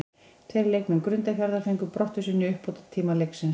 Tveir leikmenn Grundarfjarðar fengu brottvísun í uppbótartíma leiksins.